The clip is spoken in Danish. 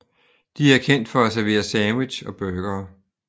De er kendt for at servere sandwich og burgere